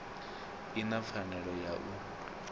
i na pfanelo ya u